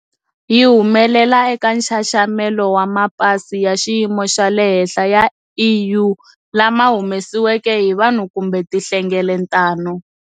Yi humelela eka nxaxamelo wa mapasi ya xiyimo xa le henhla ya EU lama humesiweke hi vanhu kumbe tinhlengeletano.